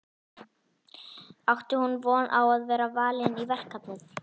Átti hún von á að vera valin í verkefnið?